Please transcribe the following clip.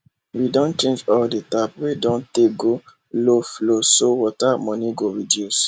we don change all the tap wey don tey go low flowso water money go reduce